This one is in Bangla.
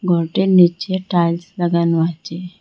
ঘরটির নীচে টাইলস লাগানো আছে।